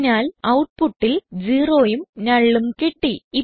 അതിനാൽ ഔട്ട്പുട്ടിൽ 0യും nullഉം കിട്ടി